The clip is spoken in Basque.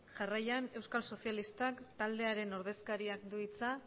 jarraian euskal sozialistak taldearen ordezkariak du hitza